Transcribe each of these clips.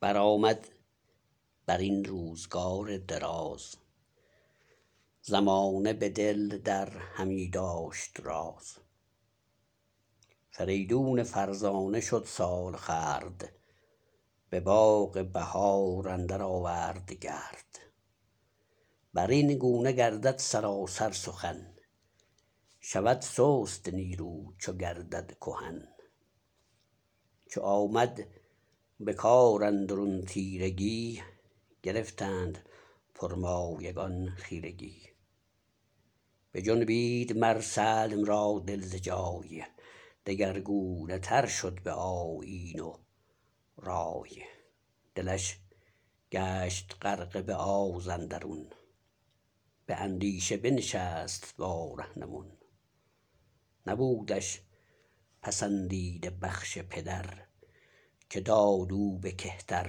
برآمد برین روزگار دراز زمانه به دل در همی داشت راز فریدون فرزانه شد سالخورد به باغ بهار اندر آورد گرد برین گونه گردد سراسر سخن شود سست نیرو چو گردد کهن چو آمد به کاراندرون تیرگی گرفتند پرمایگان خیرگی بجنبید مر سلم را دل ز جای دگرگونه تر شد به آیین و رای دلش گشت غرقه به آزاندرون به اندیشه بنشست با رهنمون نبودش پسندیده بخش پدر که داد او به کهتر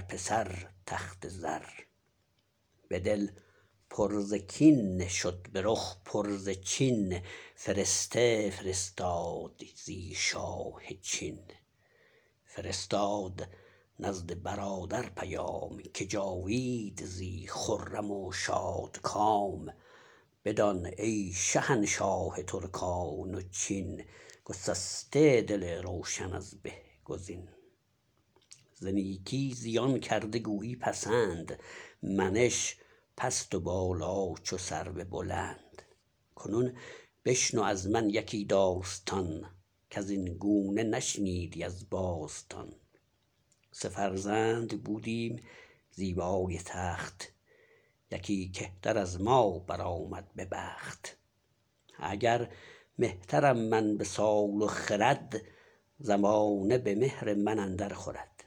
پسر تخت زر به دل پر ز کین شد به رخ پر ز چین فرسته فرستاد زی شاه چین فرستاد نزد برادر پیام که جاوید زی خرم و شادکام بدان ای شهنشاه ترکان و چین گسسته دل روشن از به گزین ز نیکی زیان کرده گویی پسند منش پست و بالا چو سرو بلند کنون بشنو ازمن یکی داستان کزین گونه نشنیدی از باستان سه فرزند بودیم زیبای تخت یکی کهتر از ما برآمد به بخت اگر مهترم من به سال و خرد زمانه به مهر من اندر خورد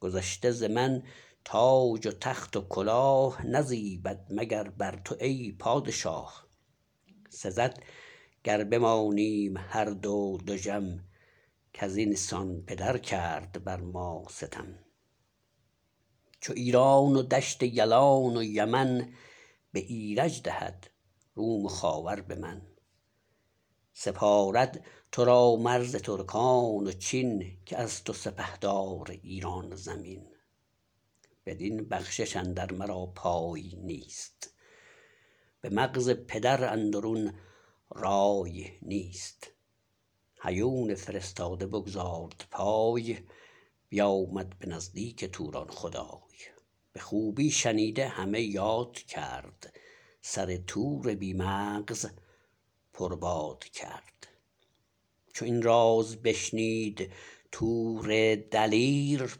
گذشته ز من تاج و تخت و کلاه نزیبد مگر بر تو ای پادشاه سزد گر بمانیم هر دو دژم کزین سان پدر کرد بر ما ستم چو ایران و دشت یلان و یمن به ایرج دهد روم و خاور به من سپارد ترا مرز ترکان و چین که از تو سپهدار ایران زمین بدین بخشش اندر مرا پای نیست به مغز پدر اندرون رای نیست هیون فرستاده بگزارد پای بیامد به نزدیک توران خدای به خوبی شنیده همه یاد کرد سر تور بی مغز پرباد کرد چو این راز بشنید تور دلیر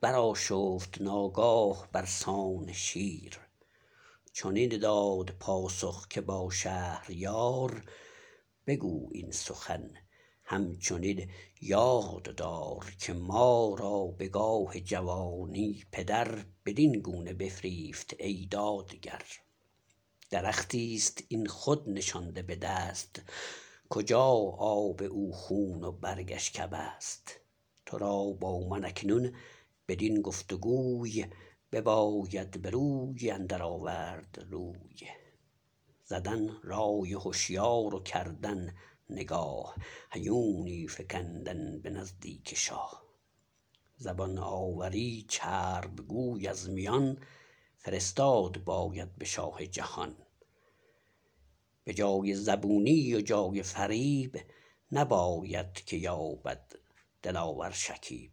برآشفت ناگاه برسان شیر چنین داد پاسخ که با شهریار بگو این سخن هم چنین یاد دار که ما را به گاه جوانی پدر بدین گونه بفریفت ای دادگر درختیست این خود نشانده بدست کجا آب او خون و برگش کبست ترا با من اکنون بدین گفت گوی بباید بروی اندر آورد روی زدن رای هشیار و کردن نگاه هیونی فگندن به نزدیک شاه زبان آوری چرب گوی از میان فرستاد باید به شاه جهان به جای زبونی و جای فریب نباید که یابد دلاور شکیب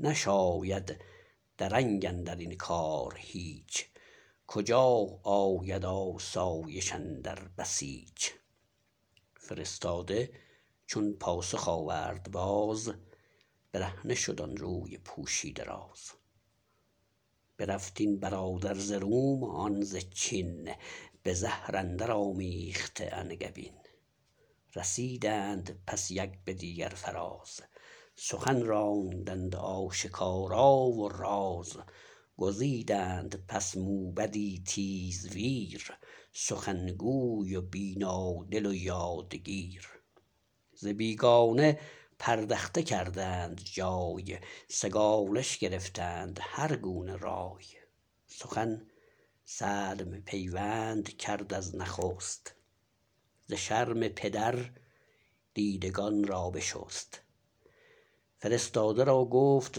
نشاید درنگ اندرین کار هیچ کجا آید آسایش اندر بسیچ فرستاده چون پاسخ آورد باز برهنه شد آن روی پوشیده راز برفت این برادر ز روم آن ز چین به زهر اندر آمیخته انگبین رسیدند پس یک به دیگر فراز سخن راندند آشکارا و راز گزیدند پس موبدی تیزویر سخن گوی و بینادل و یادگیر ز بیگانه پردخته کردند جای سگالش گرفتند هر گونه رای سخن سلم پیوند کرد از نخست ز شرم پدر دیدگان را بشست فرستاده را گفت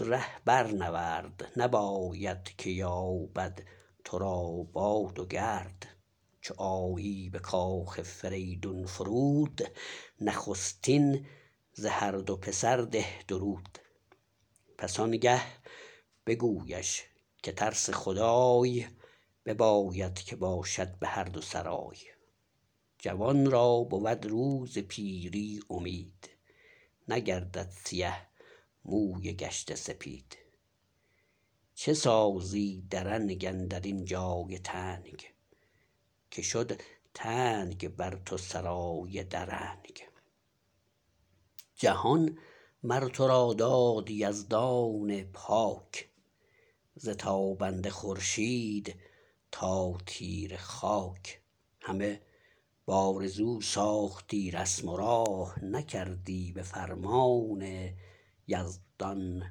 ره برنورد نباید که یابد ترا باد و گرد چو آیی به کاخ فریدون فرود نخستین ز هر دو پسر ده درود پس آنگه بگویش که ترس خدای بباید که باشد به هر دو سرای جوان را بود روز پیری امید نگردد سیه موی گشته سپید چه سازی درنگ اندرین جای تنگ که شد تنگ بر تو سرای درنگ جهان مرترا داد یزدان پاک ز تابنده خورشید تا تیره خاک همه بآرزو ساختی رسم و راه نکردی به فرمان یزدان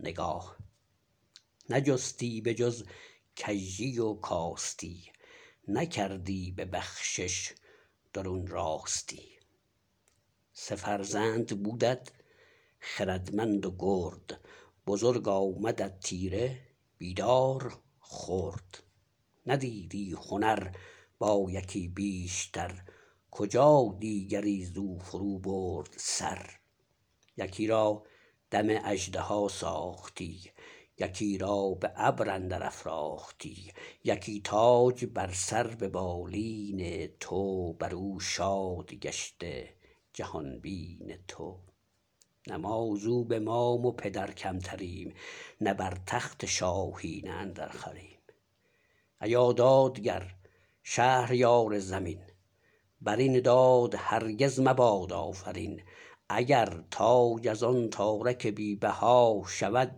نگاه نجستی به جز کژی و کاستی نکردی به بخشش درون راستی سه فرزند بودت خردمند و گرد بزرگ آمدت تیره بیدار خرد ندیدی هنر با یکی بیشتر کجا دیگری زو فرو برد سر یکی را دم اژدها ساختی یکی را به ابر اندر افراختی یکی تاج بر سر ببالین تو برو شاد گشته جهان بین تو نه ما زو به مام و پدر کمتریم نه بر تخت شاهی نه اندر خوریم ایا دادگر شهریار زمین برین داد هرگز مباد آفرین اگر تاج از آن تارک بی بها شود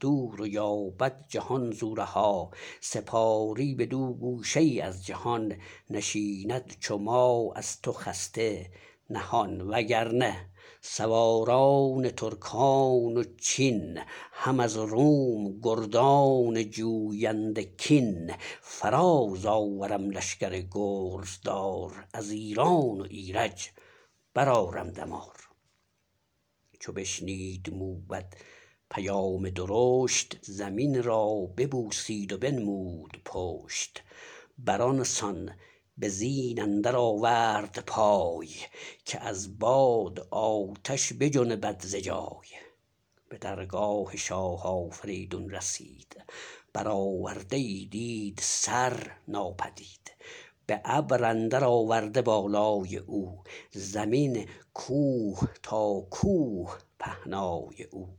دور و یابد جهان زو رها سپاری بدو گوشه ای از جهان نشیند چو ما از تو خسته نهان و گرنه سواران ترکان و چین هم از روم گردان جوینده کین فراز آورم لشگر گرزدار از ایران و ایرج برآرم دمار چو بشنید موبد پیام درشت زمین را ببوسید و بنمود پشت بر آنسان به زین اندر آورد پای که از باد آتش بجنبد ز جای به درگاه شاه آفریدون رسید برآورده ای دید سر ناپدید به ابر اندر آورده بالای او زمین کوه تا کوه پهنای او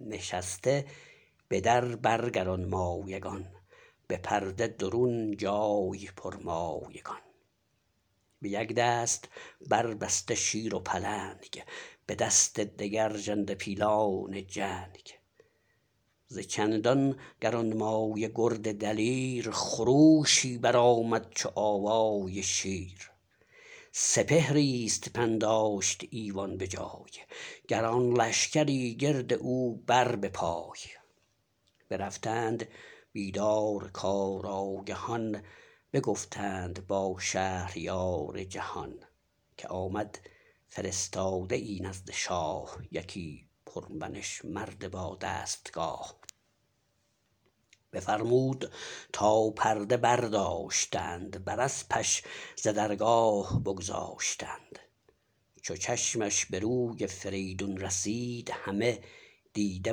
نشسته به در بر گرانمایگان به پرده درون جای پرمایگان به یک دست بربسته شیر و پلنگ به دست دگر ژنده پیلان جنگ ز چندان گرانمایه گرد دلیر خروشی برآمد چو آوای شیر سپهریست پنداشت ایوان به جای گران لشگری گرد او بر به پای برفتند بیدار کارآگهان بگفتند با شهریار جهان که آمد فرستاده ای نزد شاه یکی پرمنش مرد با دستگاه بفرمود تا پرده برداشتند بر اسپش ز درگاه بگذاشتند چو چشمش به روی فریدون رسید همه دیده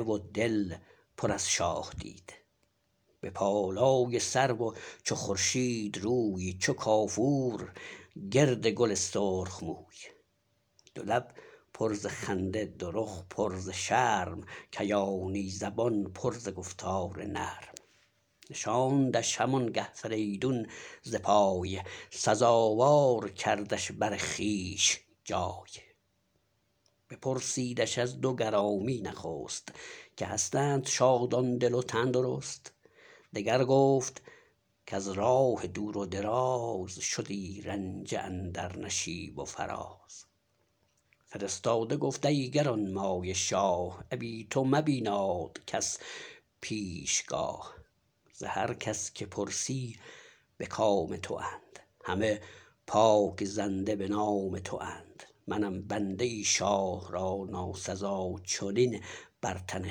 و دل پر از شاه دید به بالای سرو و چو خورشید روی چو کافور گرد گل سرخ موی دولب پر ز خنده دو رخ پر ز شرم کیانی زبان پر ز گفتار نرم نشاندش هم آنگه فریدون ز پای سزاوار کردش بر خویش جای بپرسیدش از دو گرامی نخست که هستند شادان دل و تن درست دگر گفت کز راه دور و دراز شدی رنجه اندر نشیب و فراز فرستاده گفت ای گرانمایه شاه ابی تو مبیناد کس پیش گاه ز هر کس که پرسی به کام تواند همه پاک زنده به نام تواند منم بنده ای شاه را ناسزا چنین بر تن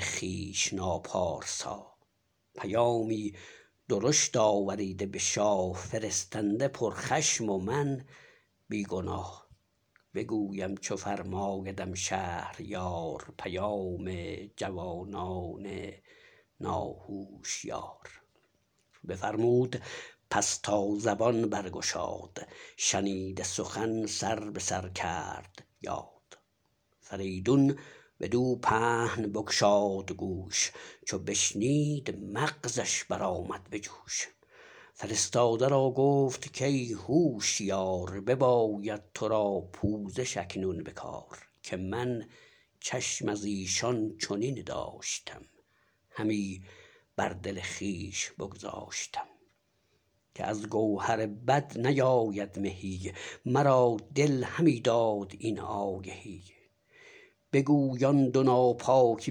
خویش ناپارسا پیامی درشت آوریده به شاه فرستنده پر خشم و من بیگناه بگویم چو فرمایدم شهریار پیام جوانان ناهوشیار بفرمود پس تا زبان برگشاد شنیده سخن سر به سر کرد یاد فریدون بدو پهن بگشاد گوش چو بشنید مغزش برآمد به جوش فرستاده را گفت کای هوشیار بباید ترا پوزش اکنون به کار که من چشم از ایشان چنین داشتم همی بر دل خویش بگذاشتم که از گوهر بد نیاید مهی مرا دل همی داد این آگهی بگوی آن دو ناپاک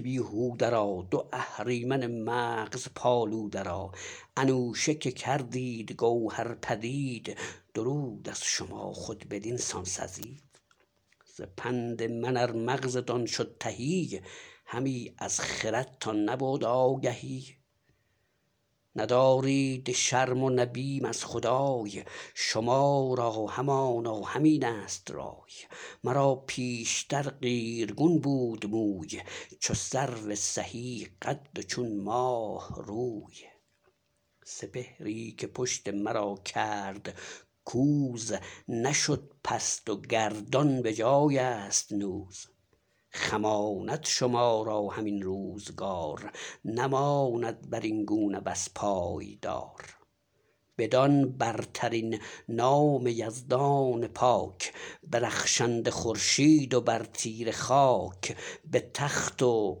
بیهوده را دو اهریمن مغز پالوده را انوشه که کردید گوهر پدید درود از شما خود بدین سان سزید ز پند من ار مغزتان شد تهی همی از خردتان نبود آگهی ندارید شرم و نه بیم از خدای شما را همانا همین ست رای مرا پیشتر قیرگون بود موی چو سرو سهی قد و چون ماه روی سپهری که پشت مرا کرد کوز نشد پست و گردان بجایست نوز خماند شما را هم این روزگار نماند برین گونه بس پایدار بدان برترین نام یزدان پاک به رخشنده خورشید و بر تیره خاک به تخت و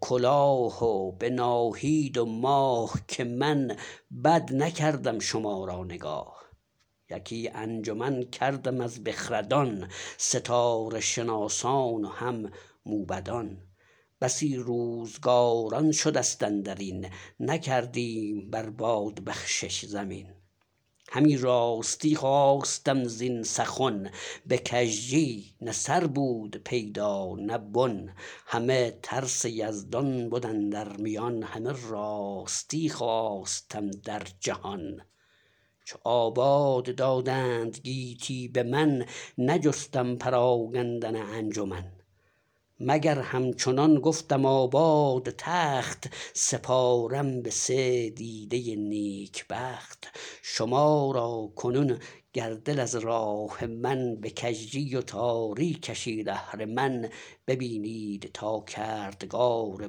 کلاه و به ناهید و ماه که من بد نکردم شما را نگاه یکی انجمن کردم از بخردان ستاره شناسان و هم موبدان بسی روزگاران شدست اندرین نکردیم بر باد بخشش زمین همه راستی خواستم زین سخن به کژی نه سر بود پیدا نه بن همه ترس یزدان بد اندر میان همه راستی خواستم در جهان چو آباد دادند گیتی به من نجستم پراگندن انجمن مگر همچنان گفتم آباد تخت سپارم به سه دیده نیک بخت شما را کنون گر دل از راه من به کژی و تاری کشید اهرمن ببینید تا کردگار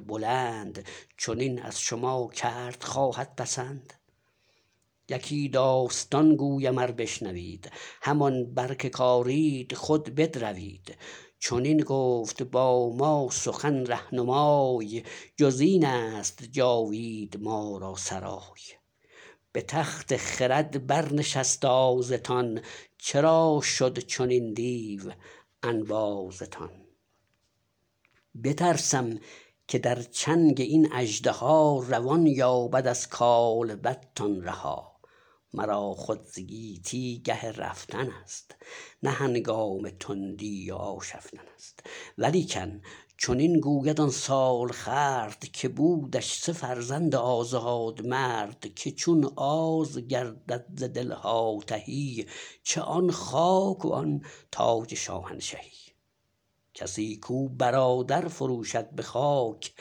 بلند چنین از شما کرد خواهد پسند یکی داستان گویم ار بشنوید همان بر که کارید خود بدروید چنین گفت باما سخن رهنمای جزین است جاوید ما را سرای به تخت خرد بر نشست آزتان چرا شد چنین دیو انبازتان بترسم که در چنگ این اژدها روان یابد از کالبدتان رها مرا خود ز گیتی گه رفتن است نه هنگام تندی و آشفتن است ولیکن چنین گوید آن سالخورد که بودش سه فرزند آزاد مرد که چون آز گردد ز دلها تهی چه آن خاک و آن تاج شاهنشهی کسی کو برادر فروشد به خاک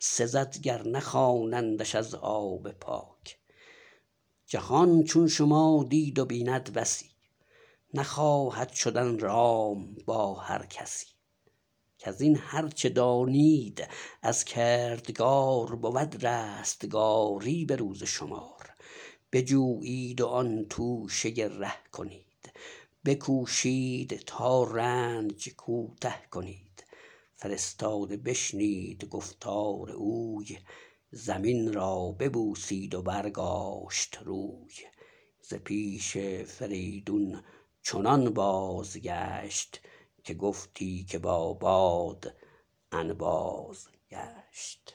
سزد گر نخوانندش از آب پاک جهان چون شما دید و بیند بسی نخواهد شدن رام با هر کسی کزین هر چه دانید از کردگار بود رستگاری به روز شمار بجویید و آن توشه ره کنید بکوشید تا رنج کوته کنید فرستاده بشنید گفتار اوی زمین را ببوسید و برگاشت روی ز پیش فریدون چنان بازگشت که گفتی که با باد انباز گشت